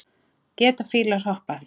Geta fílar hoppað?